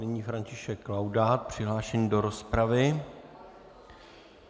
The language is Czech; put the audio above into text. Nyní František Laudát přihlášený do rozpravy.